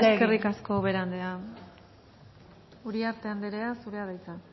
eskerrik asko ubera andreea uriarte anderea zurea da hitza